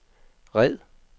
red